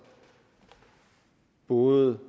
både